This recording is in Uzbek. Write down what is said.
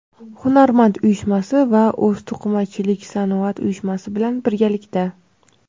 "Hunarmand" uyushmasi va "O‘zto‘qimachiliksanoat" uyushmasi bilan birgalikda:.